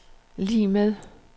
lig med